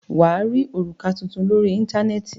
Wà á rí òrùka tuntun lórí Íńtánẹ́ẹ̀tì.